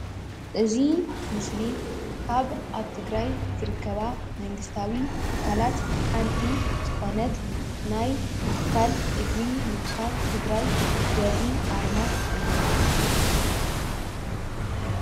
እዚ ምስሊ ካብ ኣብ ትግራይ ዝርከባ መንግስታዊ ትካላት ሓንቲ ዝኾነት ናይ ትካል እግሪ ምትካል ትግራይ ዘርኢ ኣርማ እዩ ።